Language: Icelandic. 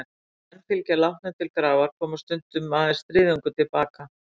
Þegar menn fylgdu látnum til grafar, kom stundum aðeins þriðjungur til baka.